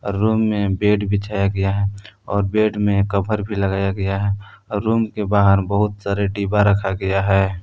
Room में bed बिछाया गया है और बेड में कभर भी लगाया गया है और रूम के बाहर बहुत सारे डिब्बा रखा गया है।